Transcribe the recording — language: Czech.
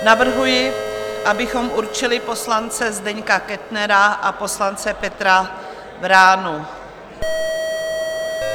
Navrhuji, abychom určili poslance Zdeňka Kettnera a poslance Petra Vránu.